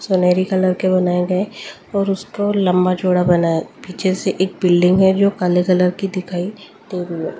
सुनहरी कलर के बनाए गए हैं और उसको लंबा चौड़ा बना है पीछे से एक बिल्डिंग है जो काले कलर की दिखाई दे रही है।